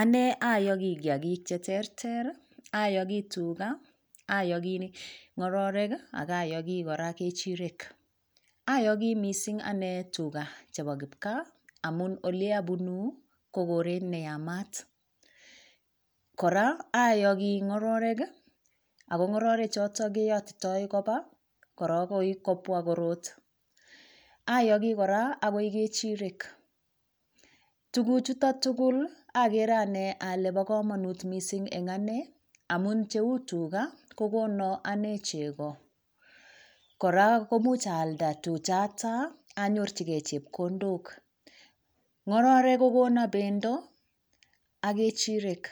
Anee oyogii kiyagiik cheterter iih, oyogii tuga, oyogi ngororek iih ak ayogii kora ngechireek, oyogii anee mising' iih tuga chebo kipkaa amuun oleabunuu ko koreet neyamaat, koraa oyogii ngororek iih ago ngororek choton keyotitoo koba agoi kobwa koroot, oyogii koraa ngechireek tuguuk chuton tugul iih ogere anee ole bo komonuut mising en anee, amuun cheuu ngunon tuga kogonon anee chego, koraa komuch aalda tuchata anyorchigee chepkondook, ngororek kogonon bendo ak gechireek